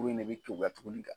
kuru in ne bɛ kekuya tuguni ka